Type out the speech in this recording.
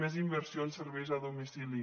més inversió en serveis a domicili